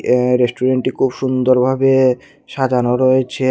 এই রেস্টুরেন্টটি খুব সুন্দরভাবে সাজানো রয়েছে।